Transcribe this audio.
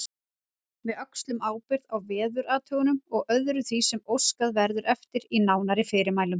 Við öxlum ábyrgð á veðurathugunum og öðru því sem óskað verður eftir í nánari fyrirmælum.